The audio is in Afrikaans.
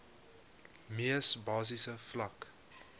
mees basiese vlak